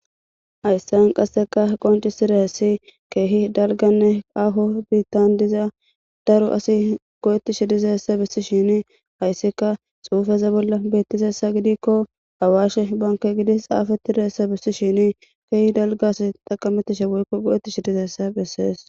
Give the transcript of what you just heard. Hayssan qasseka qonci sira hessi keehi dalganne aho biittan dizaa daro asi go'ti shidizessa bissi shini hayssika xuufeza bolla beettizessa gidikko awaashe banke gidi xaafattireessa bissi shini keehi dalgas taqametishe woykko bu'ti shidizessa bessees.